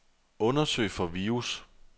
Undersøg for virus.